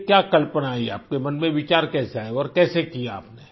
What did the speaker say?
ये क्या कल्पना आई आपके मन में विचार कैसे आया और कैसे किया आप ने